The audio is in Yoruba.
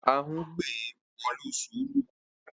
Ahún gbé e wọ̀lú sùúrù.